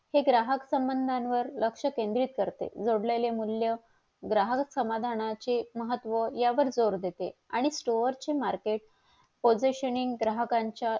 हे ग्राहक संबंधावर लक्ष केंद्रित करते जोडलेले मूल्य ग्राहक समाधानाचे महत्व यावर जोर देते आणि stor चे मार्केट positioning ग्राहकाच्या